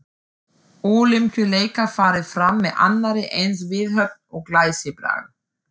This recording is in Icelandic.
Ólympíuleikar farið fram með annarri eins viðhöfn og glæsibrag.